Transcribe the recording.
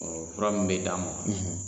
Ɔɔ fura min be d'a ma